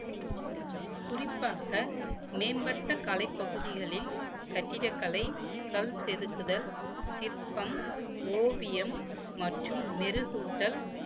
குறிப்பாக மேம்பட்ட கலைப் பகுதிகளில் கட்டிடக்கலை கல் செதுக்குதல் சிற்பம் ஓவியம் மற்றும் மெருகூட்டல்